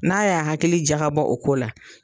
N'a y'a hakili jagabɔ o ko la.